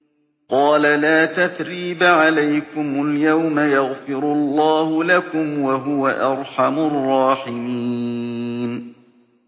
قَالَ لَا تَثْرِيبَ عَلَيْكُمُ الْيَوْمَ ۖ يَغْفِرُ اللَّهُ لَكُمْ ۖ وَهُوَ أَرْحَمُ الرَّاحِمِينَ